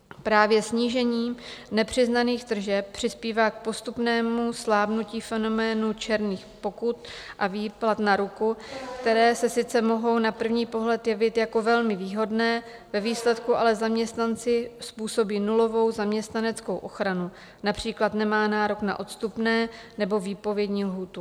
Právě snížení nepřiznaných tržeb přispívá k postupnému slábnutí fenoménu černých pokut a výplat na ruku, které se sice mohou na první pohled jevit jako velmi výhodné, ve výsledku ale zaměstnanci způsobí nulovou zaměstnaneckou ochranu, například nemá nárok na odstupné nebo výpovědní lhůtu.